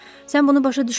Sən bunu başa düşməzsən.